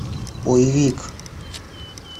боевик